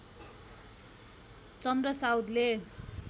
चन्द्र साउदले